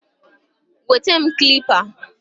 Weta m Kalipa